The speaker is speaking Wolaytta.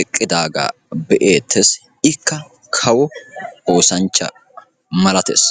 eqqidaagaa be'eettees. ikka kawo oosanchcha malattees.